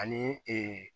Ani